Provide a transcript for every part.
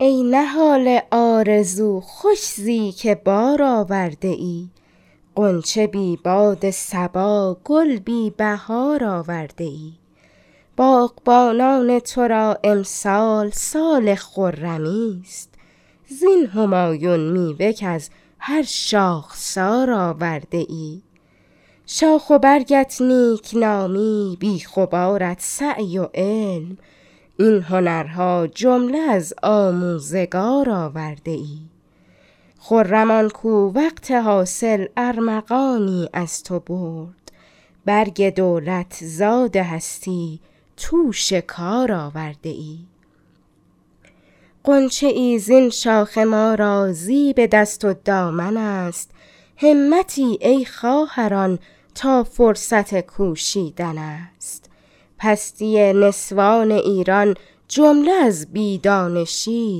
ای نهال آرزو خوش زی که بار آورده ای غنچه بی باد صبا گل بی بهار آورده ای باغبانان تو را امسال سال خرمی است زین همایون میوه کز هر شاخسار آورده ای شاخ و برگت نیکنامی بیخ و بارت سعی و علم این هنرها جمله از آموزگار آورده ای خرم آنکو وقت حاصل ارمغانی از تو برد برگ دولت زاد هستی توش کار آورده ای غنچه ای زین شاخه ما را زیب دست و دامن است همتی ای خواهران تا فرصت کوشیدن است پستی نسوان ایران جمله از بی دانشی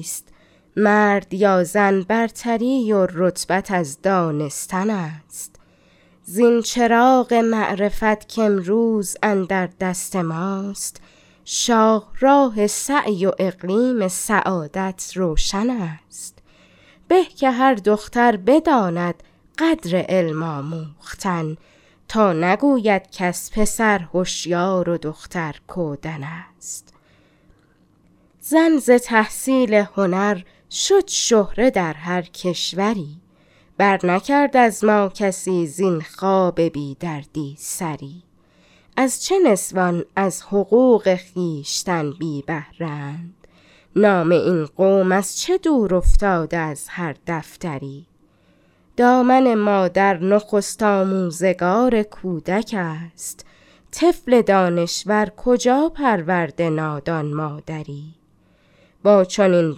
است مرد یا زن برتری و رتبت از دانستن است زین چراغ معرفت کامروز اندر دست ماست شاهراه سعی و اقلیم سعادت روشن است به که هر دختر بداند قدر علم آموختن تا نگوید کس پسر هشیار و دختر کودن است زن ز تحصیل هنر شد شهره در هر کشوری بر نکرد از ما کسی زین خواب بیدردی سری از چه نسوان از حقوق خویشتن بی بهره اند نام این قوم از چه دور افتاده از هر دفتری دامن مادر نخست آموزگار کودک است طفل دانشور کجا پرورده نادان مادری با چنین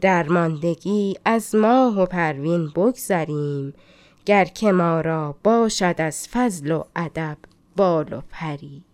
درماندگی از ماه و پروین بگذریم گر که ما را باشد از فضل و ادب بال و پری